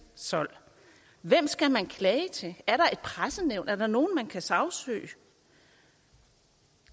sold hvem skal man klage til er der et pressenævn er der nogen man kan sagsøge